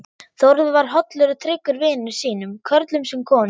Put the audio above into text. Þórður var hollur og tryggur vinum sínum, körlum sem konum.